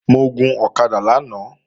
Mo gun ọ̀kadà lánàá